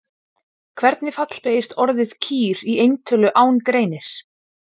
Hvernig fallbeygist orðið kýr í eintölu án greinis?